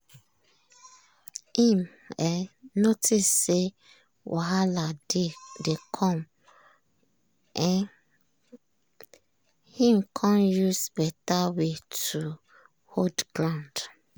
im um notice say wahala dey come im con use beta way take hold ground.